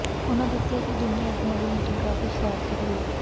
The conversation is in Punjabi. ਉਨ੍ਹਾਂ ਦੱਸਿਆ ਕਿ ਦੋਵੇਂ ਆਗੂਆਂ ਦੀ ਮੀਟਿੰਗ ਕਾਫ਼ੀ ਸਾਰਥਕ ਰਹੀ